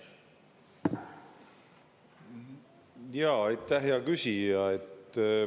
Jaa, aitäh hea küsija!